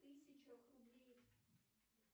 в тысячах рублей